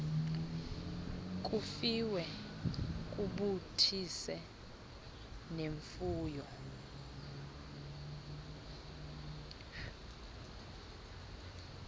kufiwe kubuthise nemfuyo